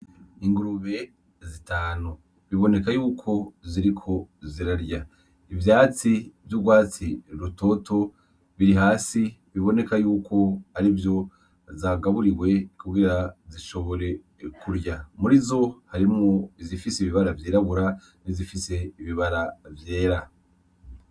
Ingurube zitanu, biboneka yuko ziriko zirarya, ivyatsi vy'urwatsi rutoto biri hasi biboneka yuko arivyo zagaburiwe kugira zishobore kurya, murizo harimwo izifise ibibara vyirabura n'izifise ibibara vyera.